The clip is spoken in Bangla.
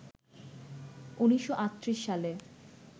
১৯৩৮ সালে